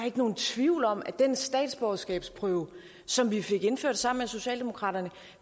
ikke nogen tvivl om at den statsborgerskabsprøve som vi fik indført sammen med socialdemokraterne